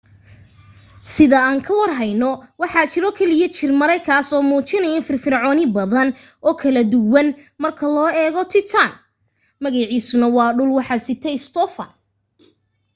sida aan ka war heyno waxaa jiro keliya jir mere kaas oo muujinayo firfircooni badan oo kala duwan marka loo eego titan magaciisuna waa dhul waxa yidhi stophan